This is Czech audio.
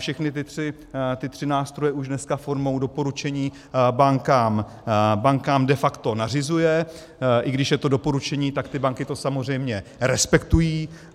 Všechny ty tři nástroje už dneska formou doporučení bankám de facto nařizuje, i když je to doporučení, tak ty banky to samozřejmě respektují.